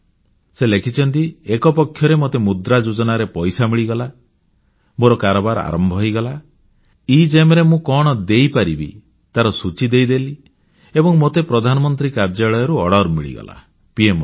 ସେ ଲେଖିଛନ୍ତି ଏକ ପକ୍ଷରେ ମୋତେ ମୁଦ୍ରା ଯୋଜନାରେ ପଇସା ମିଳିଗଲା ମୋର କାରବାର ଆରମ୍ଭ ହୋଇଗଲା ଏଗେମ୍ ରେ ମୁଁ କଣ ଦେଇପାରିବି ତାର ସୂଚୀ ଦେଇଦେଲି ଏବଂ ମୋତେ ପ୍ରଧାନମନ୍ତ୍ରୀ କାର୍ଯ୍ୟାଳୟରୁ ଅର୍ଡର ମିଳିଗଲା ପିଏମଓ ରୁ